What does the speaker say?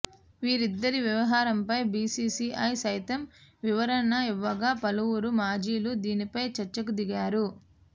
వీరిద్దరి వ్యవహారంపై బీసీసీఐ సైతం వివరణ ఇవ్వగా పలువురు మాజీలు దీనిపై చర్చకు దిగారు